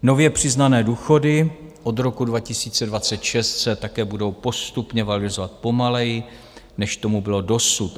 Nově přiznané důchody od roku 2026 se také budou postupně valorizovat pomaleji, než tomu bylo dosud.